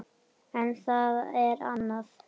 En það er annað.